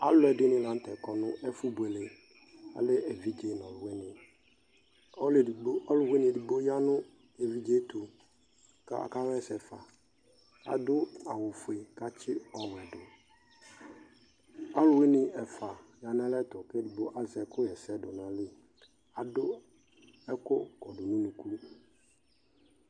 Alʋ ɛdini la nʋ tɛ kɔ nʋ ɛfʋbuele Alɛ evidze nʋ alʋwini Ɔlʋ ɛdigbo, ɔlʋwini ɛdigbo ya nʋ evidze e tʋ kʋ akaɣɛsɛ fa Adʋ awʋ fue kʋ atsi ɔwɛ dʋ Alʋwini ɛfua aya nʋ alɛ ɛtʋ, kʋ ɛdigbo azɛ ɛkʋ ɣɛsɛ dʋ nʋ ayili Adʋ ɛkʋ kɔdʋ nʋ unuku